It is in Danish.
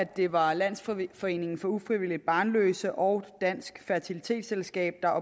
det var landsforeningen for ufrivilligt barnløse og dansk fertilitetsselskab der